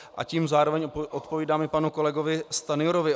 A tím zároveň odpovídám panu kolegovi Stanjurovi.